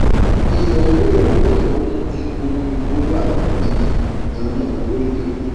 ìyọ owó ìrànwọ epo mú kí owó epo wá gidi ganan lórílẹèdè